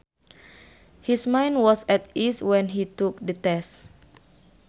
His mind was at ease when he took the test